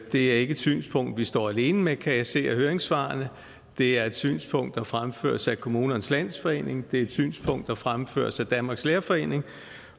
er ikke et synspunkt vi står alene med kan jeg se af høringssvarene det er et synspunkt der fremføres af kommunernes landsforening det er et synspunkt der fremføres af danmarks lærerforening